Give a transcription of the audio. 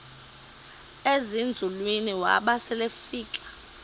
ezinzulwini waba selefika